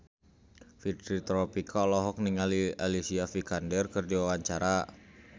Fitri Tropika olohok ningali Alicia Vikander keur diwawancara